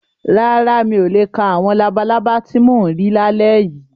Rárá, mi ò le ka àwọn labalábá ti mò ń rí lálẹ́ yìí.